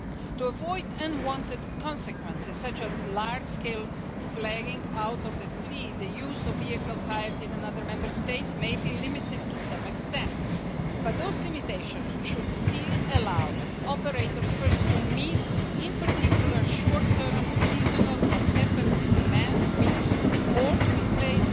To avoid unwanted consequences such as the large scale flagging out of fleets, the use of vehicles hired in another Member State may be limited to some extent, but those limitations should still allow operators first to meet in particular short term, seasonal or temporary demand peaks, or to replace